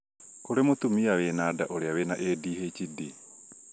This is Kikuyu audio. kũrĩ mũtumia wĩna nda ũrĩa wĩna ADHD